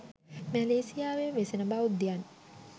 මැලේසියාවේ වෙසෙන බෞද්ධයන්